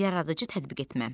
Yaradıcı tətbiq etmə.